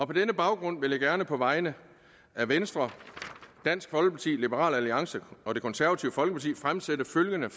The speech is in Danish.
på denne baggrund vil jeg gerne på vegne af venstre dansk folkeparti liberal alliance og det konservative folkeparti fremsætte følgende